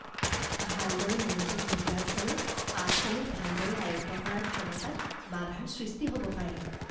ভালদৰে মনোযোগ নিদিয়াৰ ফলত পাঠসমূহ ভালদৰে আয়ত্ত কৰাৰ ক্ষমতাত বাধাৰ সৃষ্টি হ'ব পাৰে।